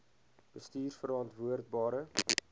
bestuurverantwoordbare